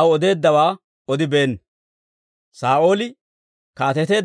aw odeeddawaa odibeenna.